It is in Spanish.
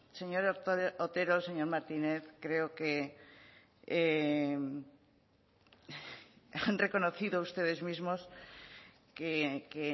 señor otero señor martínez creo que han reconocido ustedes mismos que